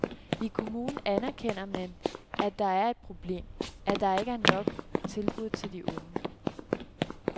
I kommunen erkender man, at det er et problem, at der ikke er nok tilbud til de unge.